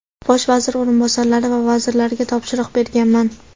bosh vazir o‘rinbosarlari va vazirlarga topshiriq berganman.